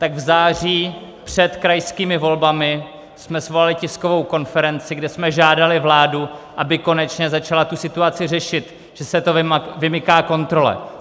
Tak v září před krajskými volbami jsme svolali tiskovou konferenci, kde jsme žádali vládu, aby konečně začala tu situaci řešit, že se to vymyká kontrole.